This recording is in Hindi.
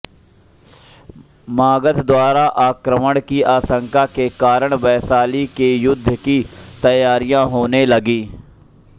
मगध द्वारा आक्रमण की आशंका के कारण वैशाली में युद्ध की तैयारियाँ होने लगीं